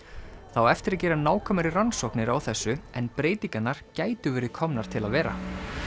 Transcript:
það á eftir að gera nákvæmari rannsóknir á þessu en breytingarnar gætu verið komnar til að vera